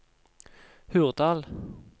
Hurdal